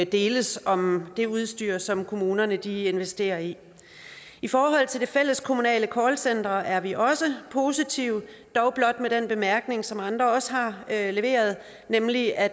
deles om det udstyr som kommunerne investerer i i forhold til det fælleskommunale callcenter er vi også positive dog blot med den bemærkning som andre også har leveret nemlig at